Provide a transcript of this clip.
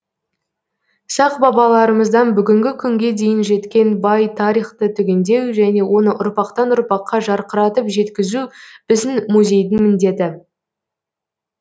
сақ бабаларымыздан бүгінгі күнге дейін жеткен бай тарихты түгендеу және оны ұрпақтан ұрпаққа жарқыратып жеткізу біздің музейдің міндеті